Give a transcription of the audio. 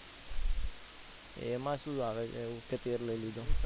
એમાં શું આવે કે તે લઇ લીધો.